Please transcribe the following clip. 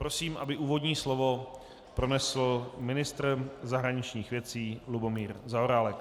Prosím, aby úvodní slovo pronesl ministr zahraničních věcí Lubomír Zaorálek.